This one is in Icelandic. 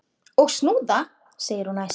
Og snúða! segir hún æst.